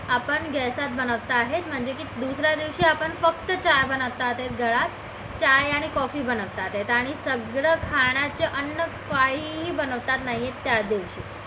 आपण gas बनवता आहेत म्हणजे की दुसऱ्या दिवशी आपण फक्त चहा बनवत आहे चाय आणि coffee बनवता आहेत आणि सगळं खाण्याचे अन्न काहीही बनवता नाही येत त्या दिवशी